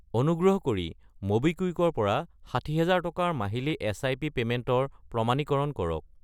অনুগ্ৰহ কৰি ম'বিকুইক ৰ পৰা 60000 টকাৰ মাহিলী এছআইপি পে'মেণ্টৰ প্ৰমাণীকৰণ কৰক।